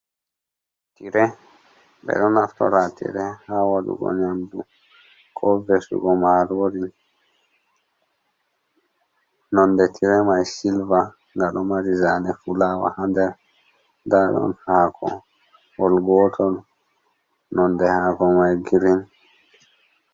Tire ɓeɗo naftora tire haa waɗugo nyamdu, ko vesugo marori, nonde tire mai silva, nga ɗo mari zane fulawa haa nder nda ɗon haakowol gotol nonde haako mai girin.